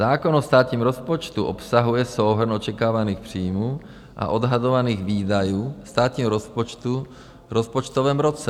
Zákon o státním rozpočtu obsahuje souhrn očekávaných příjmů a odhadovaných výdajů státního rozpočtu v rozpočtovém roce.